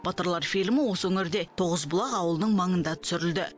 батырлар фильмі осы өңірде тоғызбұлақ ауылының маңында түсірілді